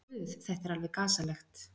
Guð, þetta er alveg gasalegt.